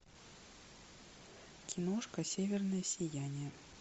киношка северное сияние